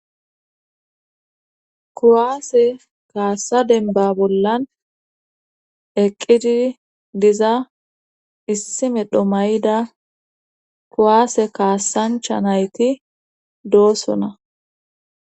kuwaase kaassa denba bollan eqqidi diza issi medho mayida kuwaase kaassancha nayti doossona.